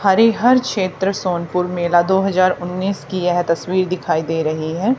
हरीहर क्षेत्र सोनपुर मेला दो हजार उन्नीस की यह तस्वीर दिखाई दे रही है।